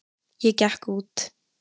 Ég gekk út.